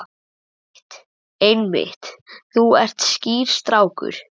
Einmitt, einmitt, þú ert skýr strákur.